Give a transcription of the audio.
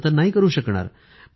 असं तर नाही करू शकणार